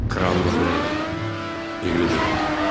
Kral Maqrel evlidir.